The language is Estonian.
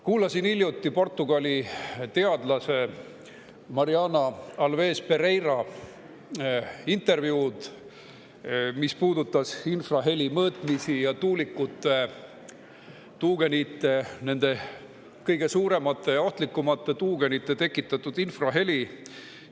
Kuulasin hiljuti portugali teadlase Mariana Alves-Pereira intervjuud, mis puudutas tuulikute, nende kõige suuremate ja ohtlikumate tuugenite tekitatud infraheli ja selle mõõtmist.